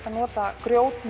að nota